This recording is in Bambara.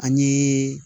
An ye